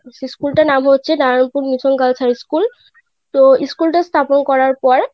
সেই School টার নাম হয়েছে Narayanpur mission girls high school তো School টা স্থাপন করার পর,